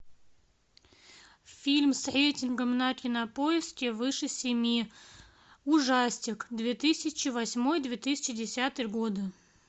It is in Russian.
фильм с рейтингом на кинопоиске выше семи ужастик две тысячи восьмой две тысячи десятый годы